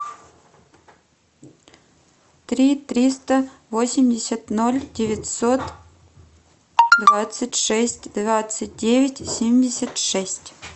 три триста восемьдесят ноль девятьсот двадцать шесть двадцать девять семьдесят шесть